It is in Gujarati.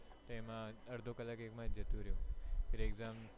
અડધો કલાક એમાં જ જતો રહ્યો ફિર exam